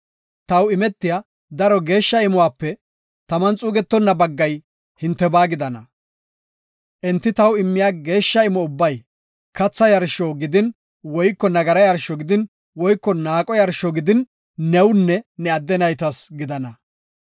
Taw imetiya daro geeshsha imuwape taman xuugetonna baggay hintebaa gidana. Enti taw immiya geeshsha imo ubbay katha yarsho gidin nagara yarsho gidin naaqo yarsho gidin newunne ne adde naytas gidana.